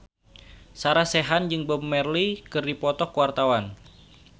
Sarah Sechan jeung Bob Marley keur dipoto ku wartawan